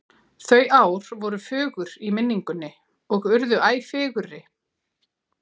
Þau ár voru fögur í minningunni og urðu æ fegurri.